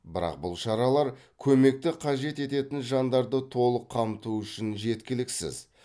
бірақ бұл шаралар көмекті қажет ететін жандарды толық қамту үшін жеткіліксіз